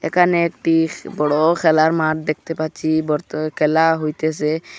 একানে একটি বড়ো খেলার মাঠ দেখতে পাচ্ছি বর্ত খেলা হইতেসে।